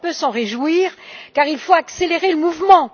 On peut s'en réjouir, car il faut accélérer le mouvement!